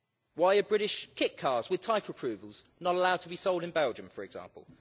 Why are British kit cars with type approvals not allowed to be sold in Belgium, for example?